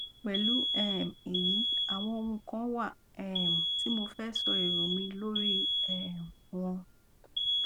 pẹlú um èyí àwọn ohùn kan wà um tí mo fẹ sọ èrò mi lórí i um wọn